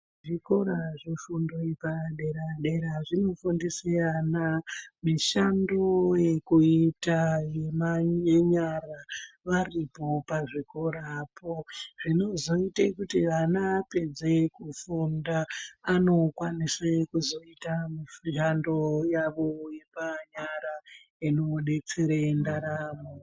Zvikora zvefundo yepadera dera zvinofundise vana mishando yekuira yemaa yenyara varipo pazvikorapo zvinoiTe kuti ana apedze kufunda anokwanise kuzoita yando yawo yemanyara inodetsere ndaramo.